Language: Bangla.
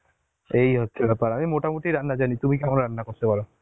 এই হচ্ছে ব্যাপার আমি মোটামুটি রান্না জানি তুমি কেমন রান্না করতে পারো?